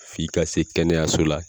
F'i ka se kɛnɛyaso la.